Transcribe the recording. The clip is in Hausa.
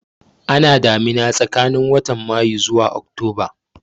Ana damina tsakanin watan Mayu zuwa Oktoba